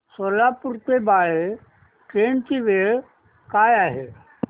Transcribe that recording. सोलापूर ते बाळे ट्रेन ची वेळ काय आहे